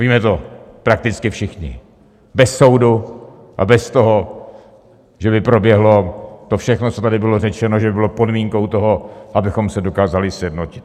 Víme to prakticky všichni, bez soudu a bez toho, že by proběhlo to všechno, co tady bylo řečeno, že by bylo podmínkou toho, abychom se dokázali sjednotit.